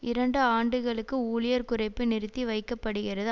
இரண்டு ஆண்டுகளுக்கு ஊழியர் குறைப்பு நிறுத்தி வைக்க படுகிறது